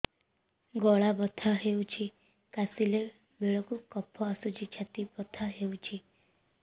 ଗଳା ବଥା ହେଊଛି କାଶିଲା ବେଳକୁ କଫ ଆସୁଛି ଛାତି ବଥା ହେଉଛି